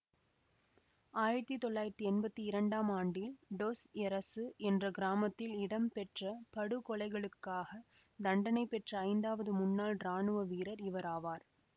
ஆயிரத்தி தொள்ளாயிரத்தி எம்பத்தி இரண்டாம் ஆண்டில் டொஸ் எரெசு என்ற கிராமத்தில் இடம்பெற்ற படுகொலைகளுக்காக தண்டனை பெற்ற ஐந்தாவது முன்னாள் இராணுவ வீரர் இவராவார்